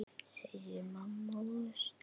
segir mamma og stynur.